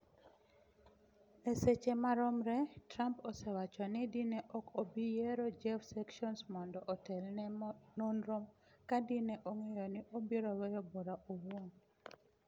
E seche maromre, Trump osewacho ni dine ok obiyiero Jeff Sessions mondo otelne nonro ka dine ong'eyo ni obiro weyo bura owuon.